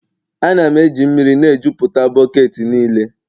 Ana m eji mmiri na-ejuputa bọket niile.